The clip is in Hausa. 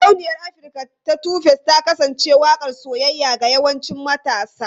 Sarauniyar Afirka ta 2face ta kasance waƙar soyayya ga yawancin matasa.